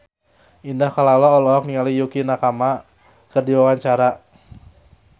Indah Kalalo olohok ningali Yukie Nakama keur diwawancara